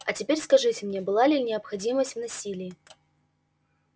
а теперь скажите мне была ли необходимость в насилии